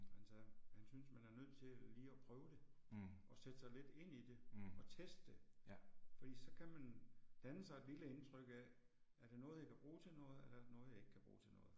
Han sagde, han synes man er nødt til lige at prøve det, og sætte sig lidt ind i det og teste det, fordi så kan man danne sig et lille indtryk af, er det noget jeg kan bruge til noget eller er det noget jeg ikke kan bruge til noget